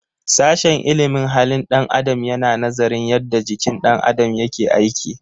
Sashen ilimin halin ɗan adam yana nazarin yadda jikin ɗan adam yake aiki.